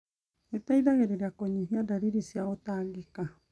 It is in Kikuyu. Gũteithagia kũnyihia ndariri cia gũtangĩka.